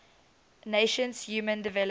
nations human development